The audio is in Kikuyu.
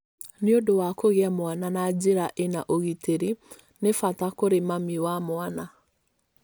Nĩ ũndũ wa kũgĩa mwana na njĩra ĩna ũgitĩri nĩ bata kũrĩ mami na mwana.